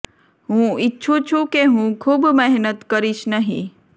હું ઇચ્છું છું કે હું ખૂબ મહેનત કરીશ નહીં